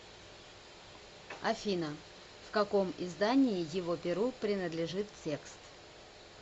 афина в каком издании его перу принадлежит текст